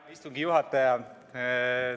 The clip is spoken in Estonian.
Hea istungi juhataja!